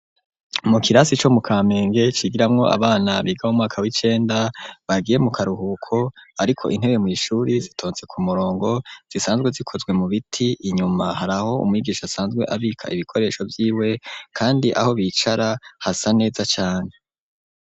mu kirasi co mu Kampenge cigiramwo abana biga mo mwaka w'icenda bagiye mu karuhuko, ariko intebe mw,ishuri zitontse ku murongo zisanzwe zikozwe mu biti, inyuma haraho umwigisha asanzwe abika ibikoresho vy'iwe kandi aho bicara hasa neza cane.